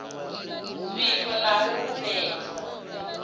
zwiko na hu huwedzo u